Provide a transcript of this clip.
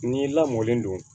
N'i lamɔnlen don